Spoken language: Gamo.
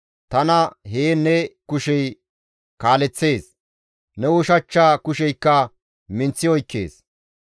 Tana heen ne kushey kaaleththees; ne ushachcha kusheykka tana minththi oykkees.